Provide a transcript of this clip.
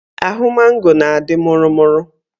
Ahụ mango na-adị mụrụ mụrụ